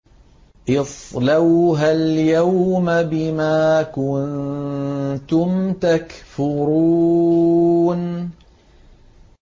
اصْلَوْهَا الْيَوْمَ بِمَا كُنتُمْ تَكْفُرُونَ